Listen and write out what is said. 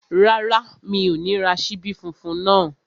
Rárá, mi ò ní ra ṣíbí funfun náà